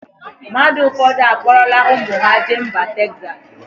Mmadụ ụfọdụ akpọrọla ụmụ ha jee mba Texas.